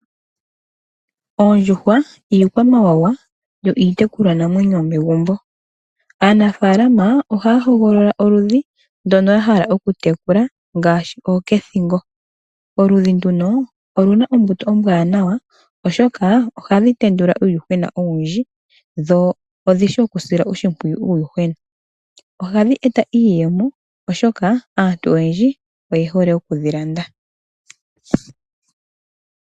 Oondjuhwa iikwamawawa yo iitekulwa namwenyo yomegumbo. Aanafaalama ohaya hogolola oludhi ndono ya hala okutekula ngaashi ooshethingo. Oludhi nduno olu na ombuto ombwanawa, oshoka ohadhi tendula uuyuhwena owundji dho odhi shi okusila oshimpwiyu uuyuhwena. Ohadhi eta iiyemo, oshoka aantu oyendji oye hole okudhi landa.